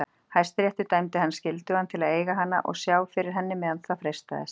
Hæstiréttur dæmdi hann skyldugan til að eiga hana og sjá fyrir henni meðan það frestaðist.